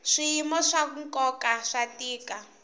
swiyimo swa nkoka swa tiko